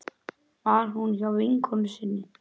Var hún hjá vinkonu sinni?